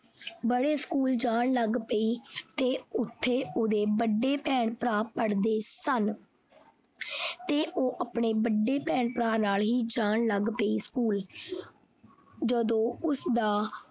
ਬੜੇ school ਜਾਣ ਲੱਗ ਪਈ ਤੇ ਓਥੇ ਓਹਦੇ ਵੱਡੇ ਭੈਣ ਭਰਾ ਪੜਦੇ ਸਨ ਤੇ ਉਹ ਆਪਣੇ ਵੱਡੇ ਭੈਣ ਭਰਾ ਨਾਲ ਹੀ ਜਾਣ ਲੱਗ ਪਈ school ਜਦੋਂ ਉਸਦਾ।